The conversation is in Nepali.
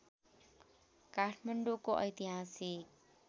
काठमाडौँको ऐतिहासिक